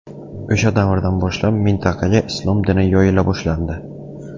O‘sha davrdan boshlab mintaqaga islom dini yoyila boshlandi.